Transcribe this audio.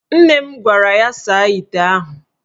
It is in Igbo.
Nne m gwara ya saa ite ahụ.